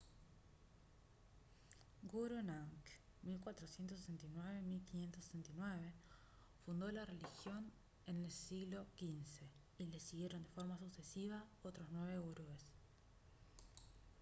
guru nank 1469- 1569 fundó la religión en el siglo xv y le siguieron de forma sucesiva otros nueve gurúes